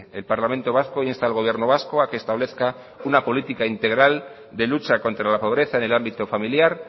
el parlamento vasco insta al gobierno vasco a que establezca una política integral de lucha contra la pobreza en el ámbito familiar